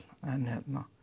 en